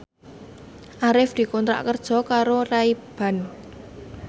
Arif dikontrak kerja karo Ray Ban